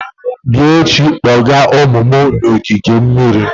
Bịa echi kpọga ụmụ m na ogige mmiri!